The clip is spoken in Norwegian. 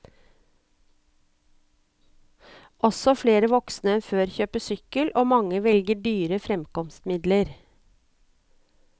Også flere voksne enn før kjøper sykkel, og mange velger dyre fremkomstmidler.